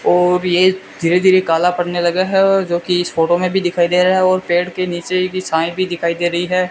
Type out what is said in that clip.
ओ ये धीरे धीरे काला पड़ने लगा है और जो कि इस फोटो में भी दिखाई दे रहा है और पेड़ के नीचे की छाएं भी दिखाई दे रही हैं।